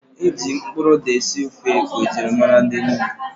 Ịjụ mkpụrụ ụda esi ofe ose bụ njirimara ndi Enugu